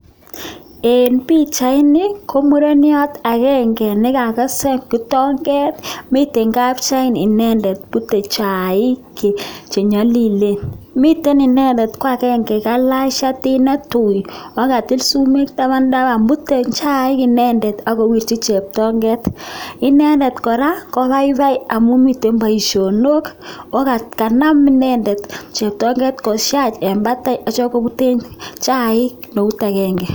En Pichaini komuren nepute chaiik kakesn kitonget ako mitei nigelach chatit nelel akokatil sumek taban taban mitei kopute chaik kora